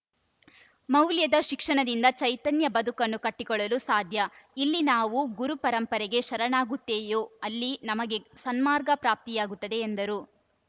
ಮೌಲ್ಯದ ಶಿಕ್ಷಣದಿಂದ ಚೈತನ್ಯ ಬದುಕನ್ನು ಕಟ್ಟಿಕೊಳ್ಳಲು ಸಾಧ್ಯ ಇಲ್ಲಿ ನಾವು ಗುರು ಪರಂಪರೆಗೆ ಶರಣಾಗುತ್ತೇಯೋ ಅಲ್ಲಿ ನಮಗೆ ಸನ್ಮಾರ್ಗ ಪ್ರಾಪ್ತಿಯಾಗುತ್ತದೆ ಎಂದರು